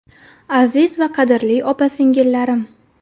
Aziz va qadrli opa-singillarim!